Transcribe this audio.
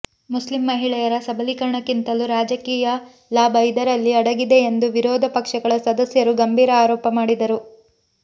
Muslim ಮಹಿಳೆಯರ ಸಬಲೀಕರಣಕ್ಕಿಂತಲೂ ರಾಜಕೀಯ ಲಾಭ ಇದರಲ್ಲಿ ಅಡಗಿದೆ ಎಂದು ವಿರೋಧ ಪಕ್ಷಗಳ ಸದಸ್ಯರು ಗಂಭೀರ ಆರೋಪ ಮಾಡಿದರು